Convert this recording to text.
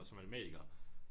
Som matematiker